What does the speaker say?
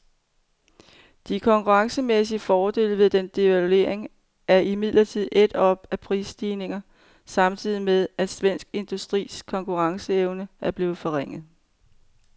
De konkurrencemæssige fordele ved den devaluering er imidlertid ædt op af prisstigninger, samtidig med at svensk industris konkurrenceevne er blevet forringet.